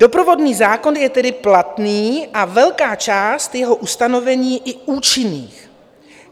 Doprovodný zákon je tedy platný a velká část jeho ustanovení i účinných.